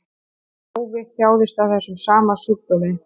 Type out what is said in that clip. Páfi þjáðist af þessum sama sjúkdómi